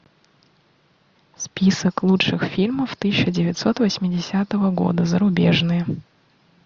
список лучших фильмов тысяча девятьсот восьмидесятого года зарубежные